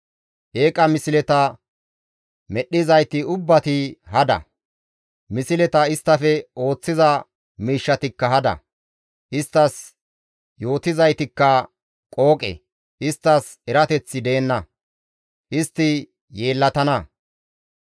Eeqa misleta medhdhizayti ubbati hada; misleta isttafe ooththiza miishshatikka hada; isttas yootizaytikka qooqe; Isttas erateththi deenna; istti yeellatana.